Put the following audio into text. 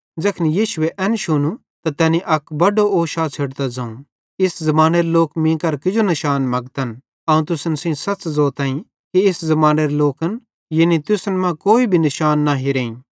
ज़ैखन यीशुए एन शुनू त तैनी अक बड्डो ओशा छ़ेडतां ज़ोवं इस ज़मानेरे लोक मीं केरां किजो निशान मगतन अवं तुसन सेइं सच़ ज़ोतईं कि इस ज़मानेरे लोकन यानी तुसन अवं कोई भी निशान न हिरेईं